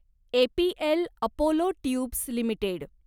APL Apollo tubes limited